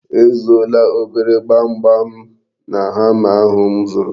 E zuola obere gbamgbam na hama ahụ m zụrụ.